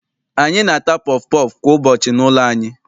Anyị na-ata pọfụ pọọfụ kwa ụbọchị n'ụlọ anyị.